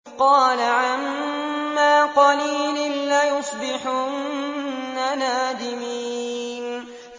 قَالَ عَمَّا قَلِيلٍ لَّيُصْبِحُنَّ نَادِمِينَ